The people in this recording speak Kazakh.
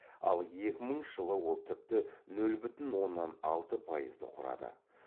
ал екі мыңыншы жылы ол тіпті нөл бүтін оннан алты пайызды құрады